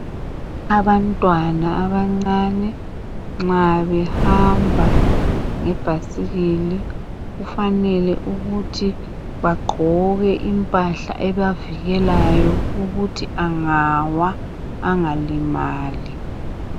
Abantwana abancane nxa behamba ngebhayisikili kufanele ukuthi bagqoke impahla ebavikelayo ukuthi angawa angalimali.